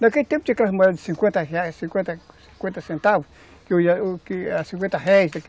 Naquele tempo tinha aquelas moedas de cinquenta reais, cinquenta centavos, cinquenta réis